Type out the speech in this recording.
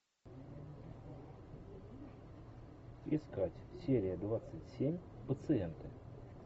искать серия двадцать семь пациенты